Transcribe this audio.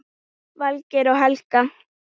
Valgeir og Helga.